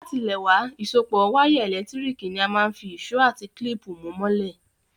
Látilẹ̀wá, ìsopọ́ wire ẹ́lẹ̀ntirikì ni a máa n fi ìsó àti clip mú mọ́lẹ̀